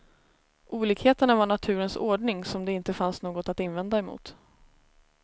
Olikheterna var naturens ordning som det inte fanns något att invända mot.